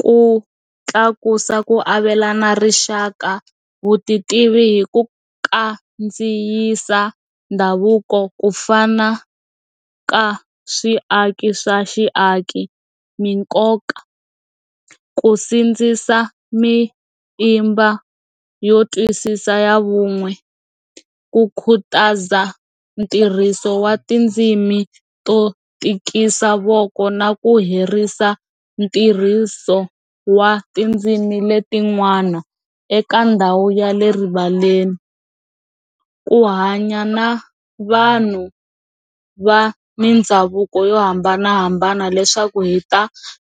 Ku tlakusa ku avelana rixaka vutitivi hi ku kandziyisa ndhavuko ku fana ka swiaki swa xiaki minkoka ku sindzisa mitimba yo tiyisisa vun'we ku khutaza ntirhiso wa tindzimi to tikisa voko na ku herisa ntirhiso wa tindzimi letinwana eka ndhawu ya le rivaleni ku hanya na vanhu va mindhavuko yo hambanahambana leswaku hi ta